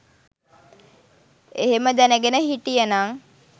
එහෙම දැනගෙන හිටියනන්